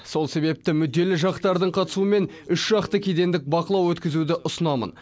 сол себепті мүдделі жақтардың қатысуымен үшжақты кедендік бақылау өткізуді ұсынамын